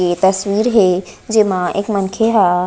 ए तस्वीर हे जेमा एक मनखे ह--